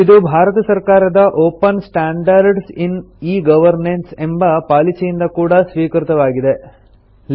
ಇದು ಭಾರತ ಸರ್ಕಾರದ open standards in e governance ಎಂಬ ಪಾಲಿಸಿಯಿಂದ ಕೂಡಾ ಸ್ವೀಕೃತವಾಗಿದೆ